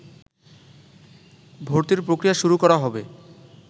ভর্তির প্রক্রিয়া শুরু করা হবে